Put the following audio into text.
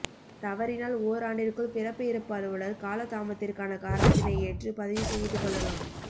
தவறினால் ஒராண்டிற்குள் பிறப்பு இறப்புஅலுவலர் காலதாமத்திற்கான காரனத்தினை ஏற்று பதிவு செய்துக் கொள்ளலாம்